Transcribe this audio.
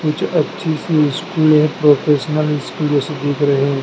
कुछ अच्छी सी स्कूल है प्रोफेशनल स्कूल जैसी दिख रहे--